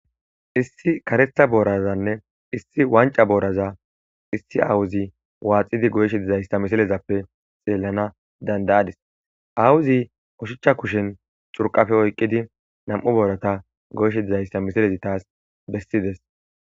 Issi karetha borazane issi wanica boraza issi aawozi waxidi goyishe dizaysa misilezappe xelada dandayadis awozi oshicha kushen xurqafe oykidi 2 boratan goyishe dizaysa misilezi tas besides